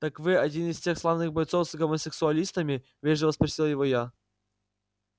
так вы один из тех славных бойцов с гомосексуалистами вежливо спросила его я